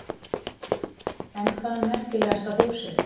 En hvað er merkilegasta húsið?